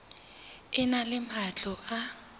e na le matlo a